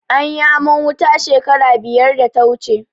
Anyi aman wuta shekara biyar da ta wuce.